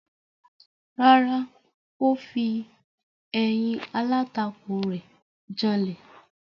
Rárá, ó fi ẹ̀yìn alátakò rẹ̀ janlẹ̀.